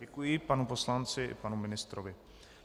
Děkuji panu poslanci i panu ministrovi.